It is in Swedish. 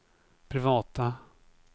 privata